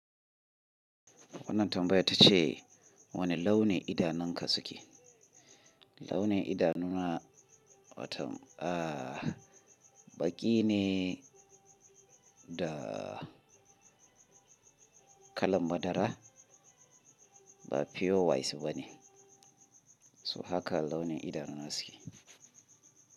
Wannan tambaya ta ce wane launin idanunka suke? Launin idanuna wato, ah, ba ƙi ne da kalan madara ba pure white bane. So haka launin idanuna suke.